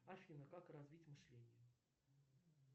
афина как развить мышление